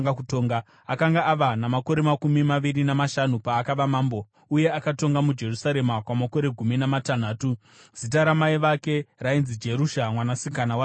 Akanga ava namakore makumi maviri namashanu paakava mambo, uye akatonga muJerusarema kwamakore gumi namatanhatu. Zita ramai vake rainzi Jerusha, mwanasikana waZadhoki.